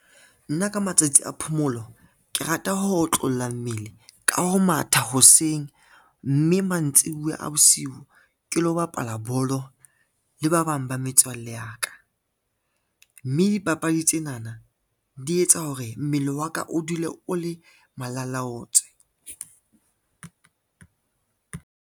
Nna ka matsatsi a phomolo ke rata ho otlolla mmele ka ho matha hoseng, mme mantsibuya a bosiu ke lo bapala bolo le ba bang ba metswalle ya ka, mme dipapadi tsenana di etsa hore mmele wa ka o dule o le malalaotswe.